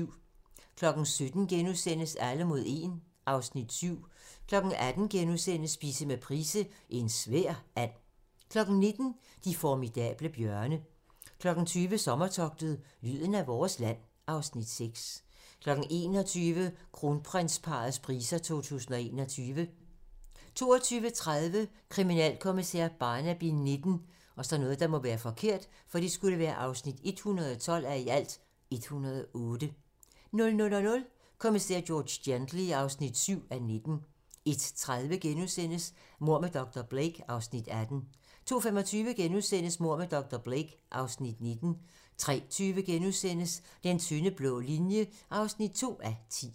17:00: Alle mod 1 (Afs. 7)* 18:00: Spise med Price - En svær and * 19:00: De formidable bjørne 20:00: Sommertogtet - lyden af vores land (Afs. 6) 21:00: Kronprinsparrets priser 2021 22:30: Kriminalkommissær Barnaby XIX (112:108) 00:00: Kommissær George Gently (7:19) 01:30: Mord med dr. Blake (Afs. 18)* 02:25: Mord med dr. Blake (Afs. 19)* 03:20: Den tynde blå linje (2:10)*